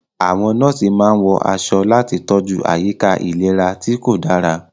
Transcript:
Àwọn nọ́ọ̀sì máa ń wọ aṣọ láti tọ́jú àyíká ìlera tí kò dára.